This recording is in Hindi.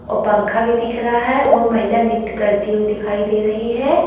और पंखा भी दिख रहा है वह महिला नृत्य करती हुई दिखाई दे रही है।